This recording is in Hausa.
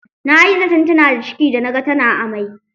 Nayi zaton tana da ciki da naga tana amai.